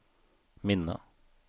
minne